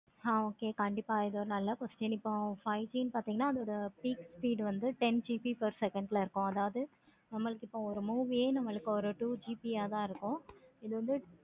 ஆஹ் கண்டிப்பா இது oru நல்ல question இப்போ five G பார்த்தீங்கன்னா அதோட peek speed பார்த்தீங்கன்னா ten GB per second ல இருக்கோம். ஒரு movie ஏ நமக்கு ஒரு two GB யா தான் இருக்கும்.